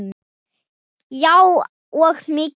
Já og mig líka.